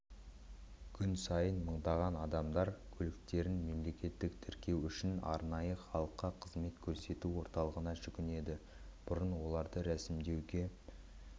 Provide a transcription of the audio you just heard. күн сайын мыңдаған адамдар көліктерін мемлекеттік тіркеу үшін арнайы халыққа қызмет көрсету орталығына жүгінеді бұрын оларды рәсімдеуге